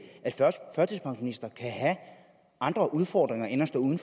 at førtidspensionister kan have andre udfordringer end at stå uden